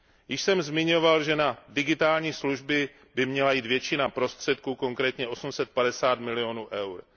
Již jsem zmiňoval, že na digitální služby by měla jít většina prostředků, konkrétně 850 milionů EUR.